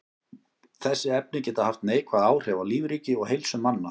Þessi efni geta haft neikvæð áhrif á lífríki og heilsu manna.